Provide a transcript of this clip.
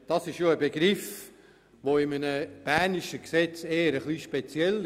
Dieser Begriff ist für ein bernisches Gesetz etwas speziell.